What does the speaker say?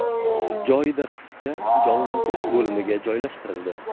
Joyida qizcha jonlantirish bo‘limiga joylashtirildi.